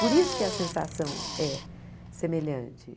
Por isso que a sensação é semelhante.